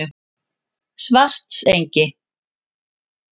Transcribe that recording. Svartsengi